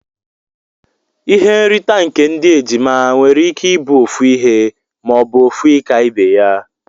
Ihe nrita nke ndi ejima nwere ike ibu ofu ihe ma obu ofu ika ibeya.